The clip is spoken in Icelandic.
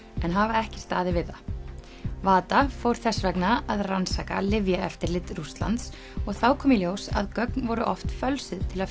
en hafa ekki staðið við það fór þess vegna að rannsaka lyfjaeftirlit Rússlands og þá kom í ljós að gögn voru oft fölsuð til að